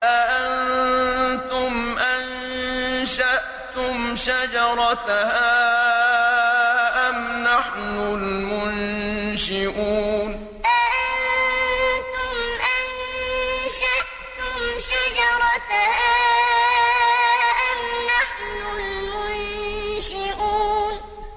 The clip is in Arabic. أَأَنتُمْ أَنشَأْتُمْ شَجَرَتَهَا أَمْ نَحْنُ الْمُنشِئُونَ أَأَنتُمْ أَنشَأْتُمْ شَجَرَتَهَا أَمْ نَحْنُ الْمُنشِئُونَ